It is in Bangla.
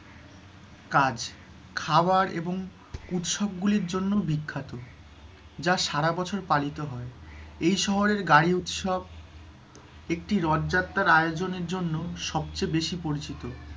কাজ, খাবার এবং উৎসব গুলির জন্যও বিখ্যাত, যা সারাবছর পালিত হয়। এই শহরের গাড়ি উৎসব, একটি রথযাত্রার আয়োজনের জন্য সবচেয়ে বেশি পরিচিত,